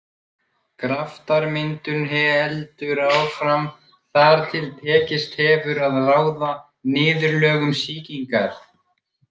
Graftarmyndun heldur áfram þar til tekist hefur að ráða niðurlögum sýkingar.